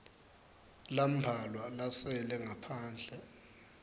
lambalwa lasele ngaphandle